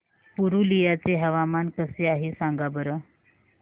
पुरुलिया चे हवामान कसे आहे सांगा बरं